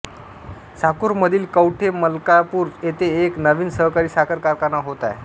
साकूरमधील कौठे मलकापूर येथे एक नवीन सहकारी साखर कारखाना होत आहे